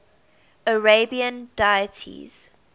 arabian deities